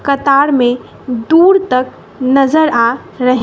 कतार में दूर तक नजर आ रहे--